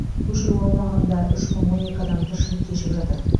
көшіру аумағында үш мың он екі адам тіршілік кешіп жатыр